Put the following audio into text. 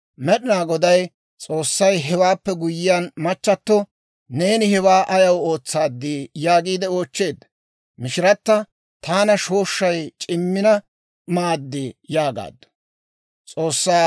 Med'inaa Goday S'oossay hewaappe guyye machchatto, «Neeni hewaa ayaw ootsaad?» yaagiide oochcheedda. Mishirata, «Taana shooshshay c'immina maad» yaagaaddu.